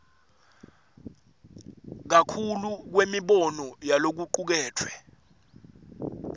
kakhulu kwemibono yalokucuketfwe